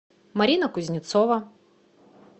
марина кузнецова